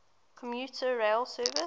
commuter rail service